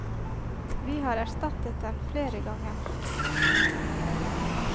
Vi har erstattet den flere ganger.